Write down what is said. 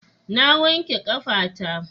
Na wake ƙafa ta.